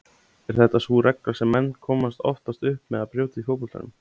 Er þetta sú regla sem menn komast oftast upp með að brjóta í fótboltanum?